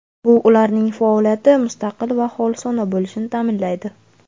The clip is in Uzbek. Bu ularning faoliyati mustaqil va xolisona bo‘lishini ta’minlaydi.